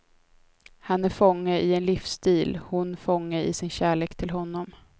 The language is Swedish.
Han är fånge i en livsstil, hon fånge i sin kärlek till honom.